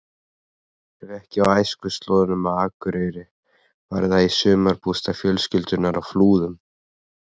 Ef ekki á æskuslóðunum á Akureyri var það í sumarbústað fjölskyldunnar á Flúðum.